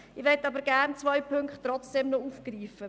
Ich möchte aber trotzdem noch zwei Punkte aufgreifen.